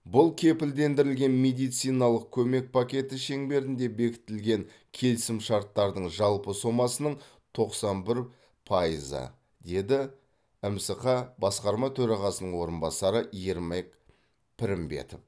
бұл кепілдендірілген медициналық көмек пакеті шеңберінде бекітілген келісімшарттардың жалпы сомасының тоқсан бір пайызы деді мсқ басқарма төрағасының орынбасары ермек пірімбетов